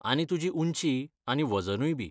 आनी तुजी उंची आनी वजनूय बी.